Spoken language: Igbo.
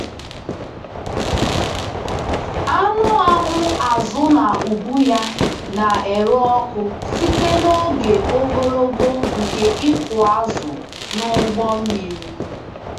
Anụ ahụ azụ na ubu ya na-ere ọkụ site n’oge ogologo nke ịkụ azụ n’ụgbọ mmiri.